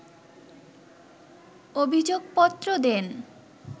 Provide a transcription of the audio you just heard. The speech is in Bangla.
অভিযোগপত্র দেন